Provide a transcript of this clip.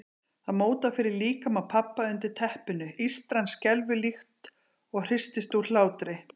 Það mótar fyrir líkama pabba undir teppinu, ístran skelfur líkt og hristist úr hlátri.